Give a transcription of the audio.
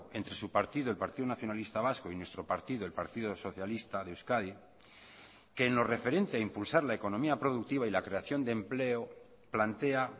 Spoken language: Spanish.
entre su partido el partido nacionalista vasco y nuestro partido el partido socialista de euskadi que en lo referente a impulsar la economía productiva y la creación de empleo plantea